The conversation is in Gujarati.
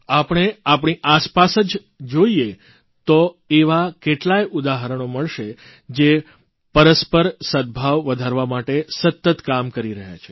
આપણે આપણી આસપાસ જ જોઇએ તો એવાં કેટલાંય ઉદાહરણો મળશે જે પરસ્પર સદભાવ વધારવા માટે સતત કામ કરતા રહ્યાં છે